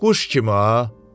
Quş kimi ha.